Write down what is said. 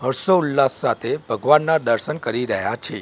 હર્ષો ઉલ્લાસ સાથે ભગવાનના દર્શન કરી રહ્યા છે.